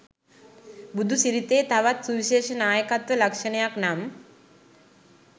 බුදුසිරිතේ තවත් සුවිශේෂ නායකත්ව ලක්‍ෂණයක් නම්